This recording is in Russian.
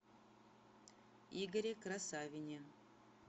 игоре красавине